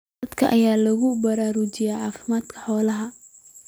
Dadka ayaa lagu baraarujinayaa caafimaadka xoolaha.